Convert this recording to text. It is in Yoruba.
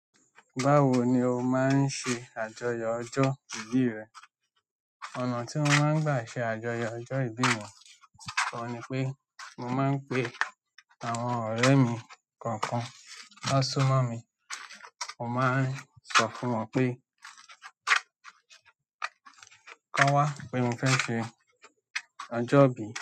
Báwo ni o máa ń ṣe àjọyọ̀ ọjọ́ ìbí rẹ? Ọ̀nà tí mo máa ń gbà ṣe àjọyọ̀ ọjọ́ ìbí mi, òun ni pé mo máa ń pe àwọn ọ̀rẹ́ mi kọ̀ọ̀kan ti won súnmọ́ mi. Mo máa ń sọ fún wọn pé, "Ki won wa, pé mo fẹ́ ṣe ọjọ́ ìbí."